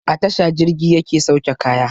A tasha jirgi yake sauke kaya